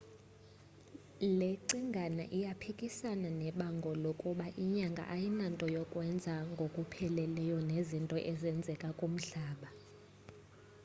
le cingane iyaphikasana nebango lokuba inyanga ayinanto yakwenza ngokupheleleyo nezinto ezenzeka kumhlaba